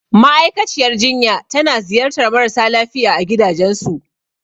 Ma'aikaciyar jinya tana ziyartar marasa lafiya a gidajensu.